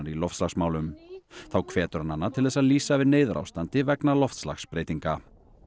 loftslagsmálum þá hvetur hann hana til þess að lýsa yfir neyðarástandi vegna loftslagsbreytinga